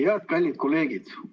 Head kallid kolleegid!